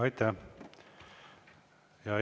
Aitäh!